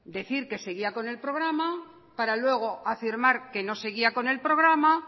decir que seguía con el programa para luego afirmar que no seguía con el programa